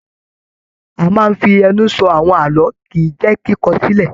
A máa n fí ẹnu sọ àwọn ààlọ́ kìí jẹ kíkọ sílẹ̀.